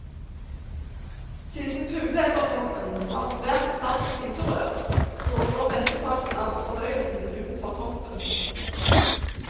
Siden fugleedderkoppen har et svært trangt spiserør, foregår mesteparten av fordøyelsen utenfor kroppen.